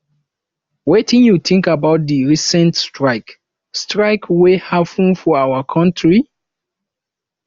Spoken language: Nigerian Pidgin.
wetin you think about di recent strike strike wey happen for our country